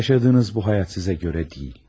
Yaşadığınız bu həyat sizə görə deyil.